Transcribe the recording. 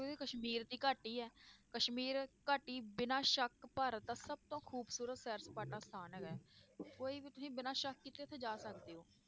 ਵੀ ਕਸ਼ਮੀਰ ਦੀ ਘਾਟੀ ਹੈ ਕਸ਼ਮੀਰ ਘਾਟੀ ਬਿਨਾਂ ਸ਼ੱਕ ਭਾਰਤ ਦਾ ਸਭ ਤੋਂ ਖ਼ੂਬਸ਼ੂਰਤ ਸੈਰ ਸਪਾਟਾ ਸਥਾਨ ਹੈਗਾ ਹੈ ਕੋਈ ਵੀ ਤੁਸੀਂ ਬਿਨਾਂ ਸ਼ੱਕ ਕੀਤੇ ਉੱਥੇ ਜਾ ਸਕਦੇ ਹੋ।